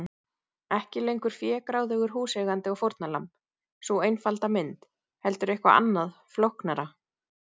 Ekki lengur fégráðugur húseigandi og fórnarlamb, sú einfalda mynd, heldur eitthvað annað, flóknara.